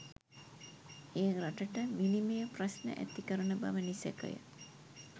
එය රටට විනිමය ප්‍රශ්න ඇති කරන බව නිසැකය.